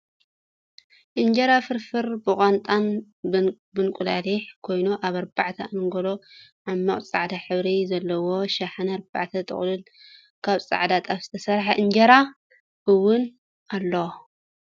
እንጀራ ፍርፍርብቆንጣን ብንቁላሊሕ ኮይኑ ኣብ ኣርባዕተ ኣንጎሎ ዓሚቅ ፃዕዳ ሕብሪ ዘለዎ ሽሓነ ኣርባዕተ ጥቅላል ካብ ፃዕዳ ጣፍ ዝተሰረሐ እንጀራ እውን ኣሎ።